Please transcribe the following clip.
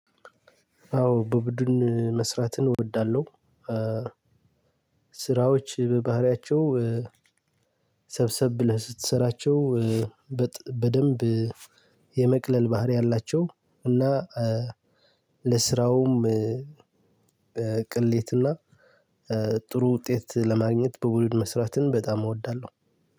አዎ በቡድን መስራትን እወዳለሁ። ስራዎች በባህሪያቸው ሰብሰብ ብለህ ስትሰራቸው በደንብ የመቅለል ባህሪ አላቸው። እና ለስራውም ቅሌትና ጥሩ ውጤት ለማግኘት በቡድን መስራትን በጣም እወዳለሁ።